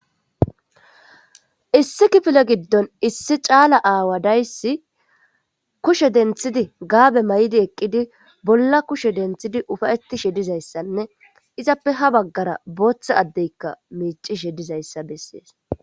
Issi kifile gidon issi cala aawa days kushe denthid gaabe mayid eqid bolla kushe denthid ufa'etishe dizaysanne izappe ha bagara bootha Adey micishe dizaysa beses.